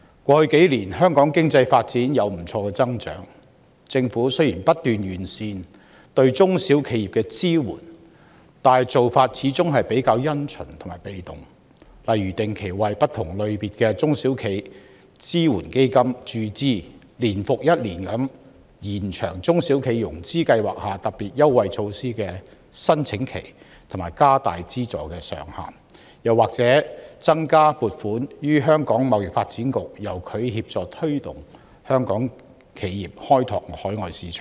過去數年，香港經濟發展有不錯的增長，政府亦不斷完善對中小企的支援，但做法始終比較因循和被動，例如只是定期為不同類型的中小企支援基金注資，年復年地延長中小企融資擔保計劃下特別優惠措施的申請期和調高資助上限，又或增加撥款予香港貿易發展局，由它協助推動香港企業開拓海外市場等。